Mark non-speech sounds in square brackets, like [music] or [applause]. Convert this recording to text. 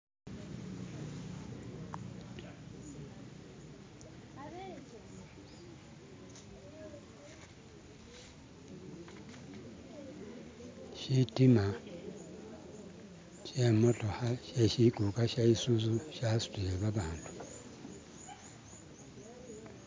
"[skip]" shitima shemotokha she shikuka sha isuzu shasutile babandu"<skip>" .